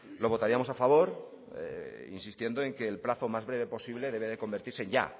lo votaríamos a favor insistiendo en que el plazo más breve posible debe de convertirse ya